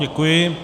Děkuji.